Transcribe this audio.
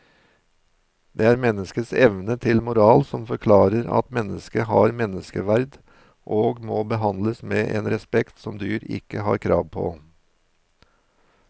Det er menneskets evne til moral som forklarer at mennesket har menneskeverd og må behandles med en respekt som dyr ikke har krav på.